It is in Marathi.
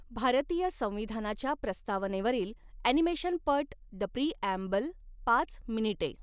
भारतीय संविधानाच्या प्रस्तावनेवरील ऍनिमेशनपट द प्रीऍम्बल पाच मिनिटे